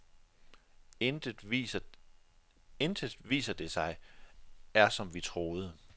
Intet, viser det sig, er som vi troede.